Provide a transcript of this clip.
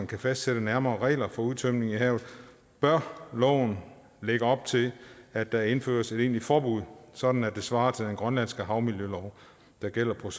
kan fastsætte nærmere regler for udtømning i havet så bør loven lægge op til at der indføres et egentligt forbud sådan at det svarer til den grønlandske havmiljølov der gælder for